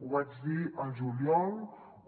ho vaig dir al juliol